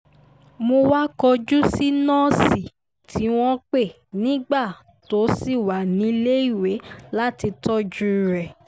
mo wáá kọjú sí nọ́ọ̀sì tí wọ́n pè nígbà tó ṣì wà níléèwé láti tọ́jú rẹ̀